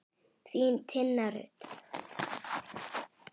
Þín, Tinna Rut.